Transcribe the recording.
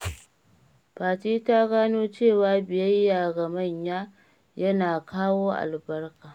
Fati ta gano cewa biyayya ga manya yana kawo albarka.